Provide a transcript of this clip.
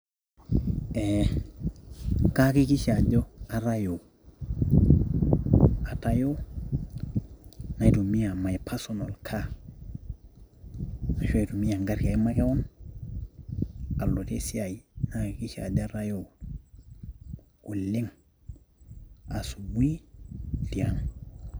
kayakikishaa ajo katayoo, atayoo naitumia my personal car, ashu aitumia egari ai makewon aloitie esiai. nayakikisha ajo atayoo oleng, asubui tiang'